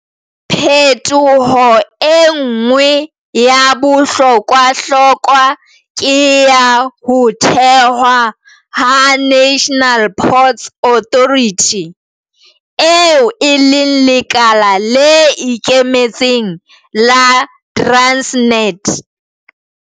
Phetoho e nngwe ya bohlokwahlokwa ke ya ho thewa ha National Ports Authority, eo e leng lekala le ikemetseng la Transnet.